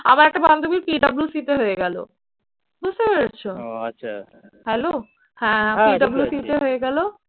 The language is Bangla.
আমার একটা বান্ধবী PWC তে হয়ে গেল। বুঝতে পেরেছো? hello হ্যাঁ PWC তে হয়ে গেল।